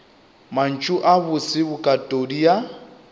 mantšu a bose bokatodi ya